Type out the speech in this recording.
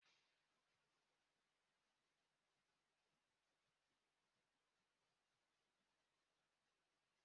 A na-akwụ na kanter e were ego ma na-akwunye ego n'ọba ego.